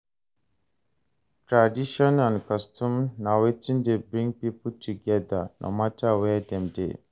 Traditions and customs na wetin de bring pipo together no matter where dem de